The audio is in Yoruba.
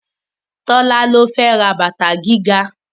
Tọ́lá ló fẹ́ ra bàtà gíga